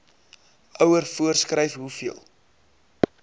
ouer voorskryf hoeveel